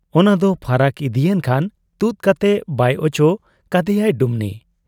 ᱚᱱᱟᱫᱚ ᱯᱷᱟᱨᱟᱠ ᱤᱫᱤᱭᱮᱱ ᱠᱷᱟᱱ ᱛᱩᱫ ᱠᱟᱛᱮ ᱵᱟᱭ ᱚᱪᱚ ᱠᱟᱫᱮᱭᱟᱭ ᱰᱩᱢᱱᱤ ᱾